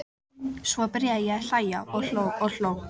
Svo byrjaði ég að hlæja og hló og hló.